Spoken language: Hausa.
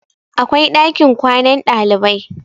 akwai ɗakin kwanan ɗalibai